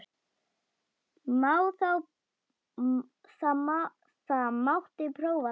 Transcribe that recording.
Það mátti prófa það.